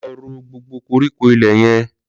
Lọ ró gbógbó kórikó ilè yèn